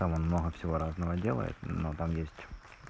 там он много всего разного делает но там есть